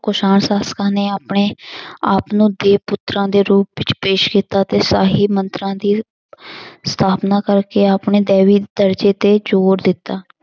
ਕੁਸ਼ਾਣ ਸ਼ਾਸ਼ਕਾਂ ਨੇ ਆਪਣੇ ਆਪ ਨੂੰ ਦੇ ਪੁੱਤਰਾਂ ਦੇ ਰੂਪ ਵਿੱਚ ਪੇਸ਼ ਕੀਤਾ ਤੇ ਸ਼ਾਹੀ ਮੰਤਰਾਂ ਦੀ ਸਥਾਪਨਾ ਕਰਕੇ ਆਪਣੇ ਦੈਵੀ ਦਰਜ਼ੇ ਤੇ ਜ਼ੋਰ ਦਿੱਤਾ।